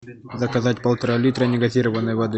заказать полтора литра негазированной воды